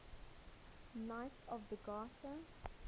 knights of the garter